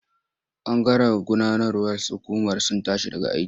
Bangaren gudanarwar hukumar sun tashi daga aiki.